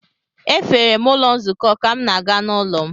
Efere m ụlọ nzukọ ka m na-aga n’ụlọ m.